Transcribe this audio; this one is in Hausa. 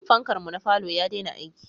Fankar mu na falo ya dena aiki